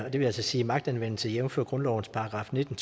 og det vil altså sige magtanvendelse jævnfør grundlovens § nitten